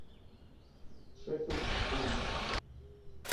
шеффилд борнмут